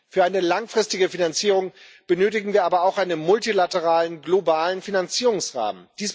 Für eine langfristige Finanzierung benötigen wir aber auch einen multilateralen globalen Finanzierungsrahmen.